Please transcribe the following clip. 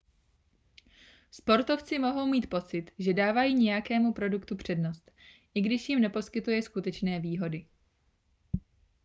sportovci mohou mít pocit že dávají nějakému produktu přednost i když jim neposkytuje skutečné výhody